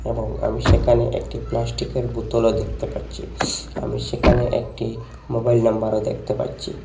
এবং আমি সেকানে একটি প্লাস্টিকের বোতলও দেখতে পারচি আমি সেকানে একটি মোবাইল নাম্বারও দেখতে পারচি।